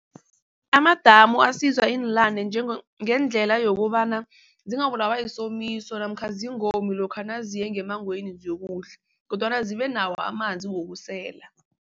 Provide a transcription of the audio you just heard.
Amadamu ngendlela yokobana zingabulawa yisomiso namkha zingomi lokha naziye ngemmangweni ziyokudla kodwana zibenawo amanzi wokusela.